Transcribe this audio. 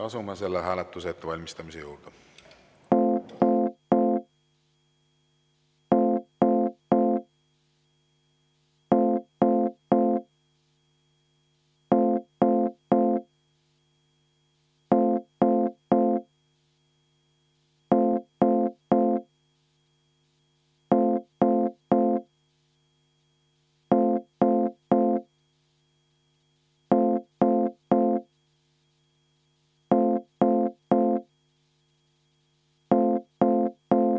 Asume selle hääletuse ettevalmistamise juurde.